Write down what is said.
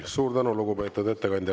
Suur tänu, lugupeetud ettekandja!